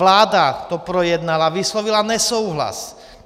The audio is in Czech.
Vláda to projednala, vyslovila nesouhlas.